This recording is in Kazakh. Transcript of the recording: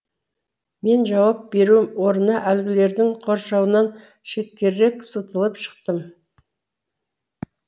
мен жауап беру орнына әлгілердің қоршауынан шеткерірек сытылып шықтым